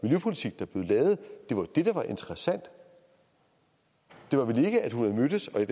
det der var interessant det var vel ikke at hun har mødtes med